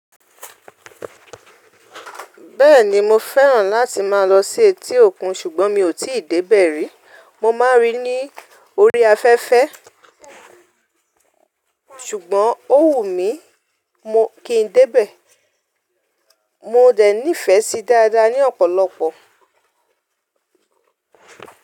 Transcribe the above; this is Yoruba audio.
Bẹ́ẹ̀ni mo fẹ́ràn láti má a lọ sí etí òkun ṣùgbọ́n mi ò tíì débẹ̀ rí. Mo máa ń rí i ní orí afẹ́fẹ́ ṣùgbọ́n ó wù mí kí n débẹ̀. Mo dẹ̀ nífẹ̀ẹ́ sí dáadáa ní ọ̀pọ̀lọpọ̀.